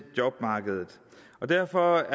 jobmarkedet derfor